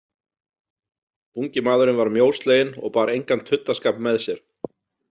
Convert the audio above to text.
Ungi maðurinn var mjósleginn og bar engan tuddaskap með sér.